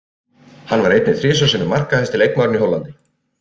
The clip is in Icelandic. Hann var einnig þrisvar sinnum markahæsti leikmaðurinn í Hollandi.